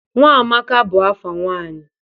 Nwamaka bụ afa nwanyị.